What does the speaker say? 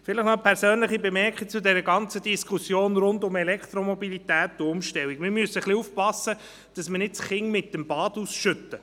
Ich möchte noch eine persönliche Bemerkung zur Diskussion rund um Elektromobilität und Umstellung anbringen: Wir müssen aufpassen, dass wir nicht das Kind mit dem Bade ausschütten.